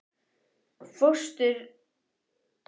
En fósturmóðir það skal ég reyna.